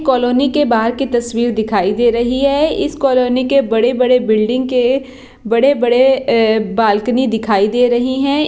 Colony के बाहर की तस्वीर दिखाई दे रही है इस कॉलोनी के बड़े-बड़े बिल्डिंग के बड़े-बड़े ए बालकनी दिखाई दे रही है।